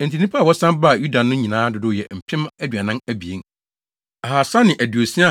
Enti nnipa a wɔsan baa Yuda no nyinaa dodow yɛ mpem aduanan abien, ahaasa ne aduosia (42,360),